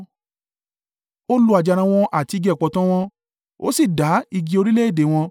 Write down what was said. Ó lu àjàrà wọn àti igi ọ̀pọ̀tọ́ wọn ó sì dá igi orílẹ̀-èdè wọn.